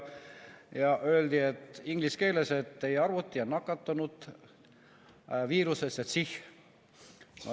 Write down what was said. Ja inglise keeles öeldi, et teie arvuti on nakatunud viirusesse CIH.